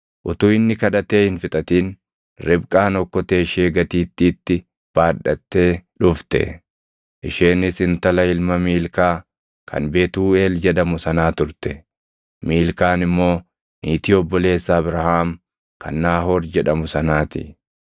Utuu inni kadhatee hin fixatin Ribqaan okkotee ishee gatiittiitti baadhattee dhufte. Isheenis intala ilma Miilkaa kan Betuuʼeel jedhamu sanaa turte; Miilkaan immoo niitii obboleessa Abrahaam kan Naahoor jedhamu sanaa ti.